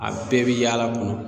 A bɛɛ bɛ yaala kɔnɔ.